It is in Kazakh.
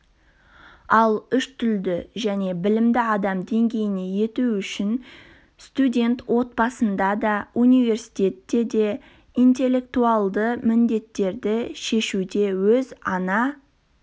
ал үштілді және білімді адам деңгейіне ету үшін студент отбасында да университетте де интеллектуалды міндеттерді шешуде өз ана